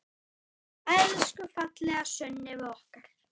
Elsku fallega Sunneva okkar.